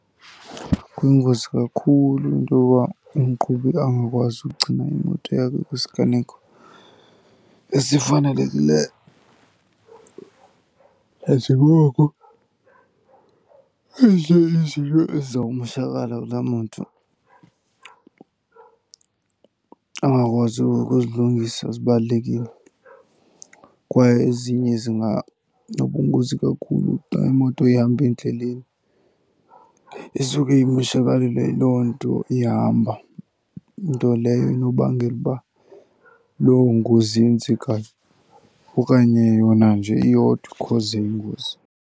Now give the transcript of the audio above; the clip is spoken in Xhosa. Kuyingozi kakhulu into yoba umqhubi angakwazi ukugcina imoto yakhe kwisiganeko esifanelekileyo nanjengoko ezinye izinto eziza kumoshakala kulaa moto angakwazi ukuzilungisa zibalulekile. Kwaye ezinye zinganobungozi kakhulu xa imoto ihamba endleleni, isuke imoshakalelwe yiloo nto ihamba. Nto leyo enobangela uba loo ngozi yenzekayo okanye yona nje iyodwa ikhoze ingozi.